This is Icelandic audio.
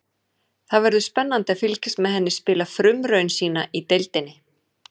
Það verður spennandi að fylgjast með henni spila frumraun sína í deildinni.